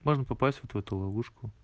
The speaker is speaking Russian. можно попасть вот в эту ловушку